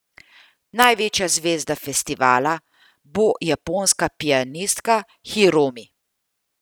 Največja zvezda festivala bo japonska pianistka Hiromi.